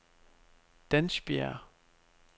Dansbjerg